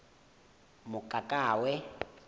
mokakawe